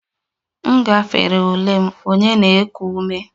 M gafere ule m, onye na-eku ume